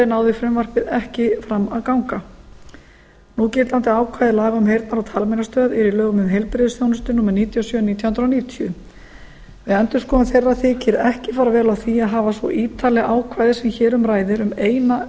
náði frumvarpið ekki fram að ganga í þinginu núgildandi ákvæði laga um heyrnar og talmeinastöð eru í lögum númer níutíu og sjö nítján hundruð níutíu um heilbrigðisþjónustu við endurskoðun þeirra laga þykir ekki fara vel á því að hafa svo ítarleg ákvæði sem hér um ræðir um eina